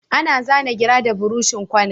Ana zana gira da buroshin kwana